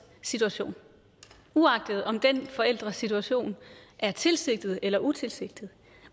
situation uagtet om den forælders situation er tilsigtet eller utilsigtet